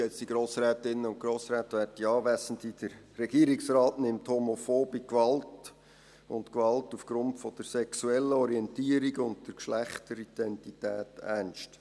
Der Regierungsrat nimmt homophobe Gewalt und Gewalt aufgrund der sexuellen Orientierung und der Geschlechteridentität ernst.